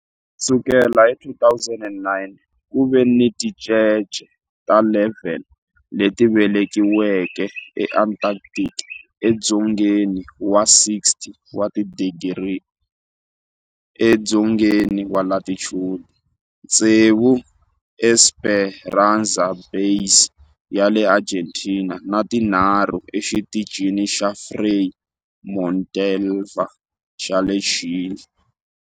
Ku sukela hi 2009, ku ve ni tincece ta 11 leti velekiweke eAntarctica, edzongeni wa 60 wa tidigri edzongeni wa latitude, tsevu eEsperanza Base ya le Argentina ni tinharhu eXitichini xa Frei Montalva xa le Chile.